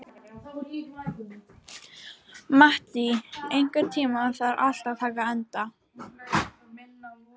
Mattý, einhvern tímann þarf allt að taka enda.